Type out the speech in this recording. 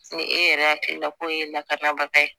Ni e yɛrɛ y'a hakilila k'o ye lakanabaga ye